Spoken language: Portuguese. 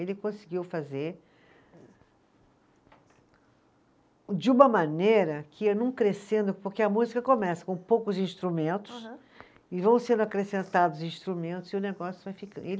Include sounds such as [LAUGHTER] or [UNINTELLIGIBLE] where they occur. Ele conseguiu fazer de uma maneira que ia não crescendo, porque a música começa com poucos instrumentos. Aham. E vão sendo acrescentados instrumentos e o negócio vai [UNINTELLIGIBLE] ele